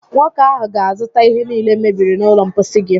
Nwoke áhụ̀ ga-azụta ihe niile mebiri n'ụlọ mposi gị